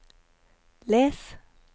les